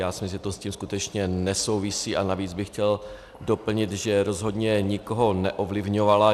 Já si myslím, že to s tím skutečně nesouvisí, a navíc bych chtěl doplnit, že rozhodně nikoho neovlivňovala.